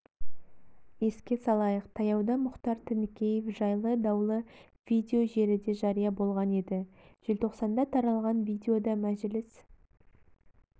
еске салайық таяуда мұхтар тінікеев жайлы даулы видео желіде жария болған еді желтоқсанда таралған видеода мәжіліс